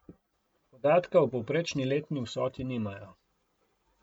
Podatka o povprečni letni vsoti nimajo.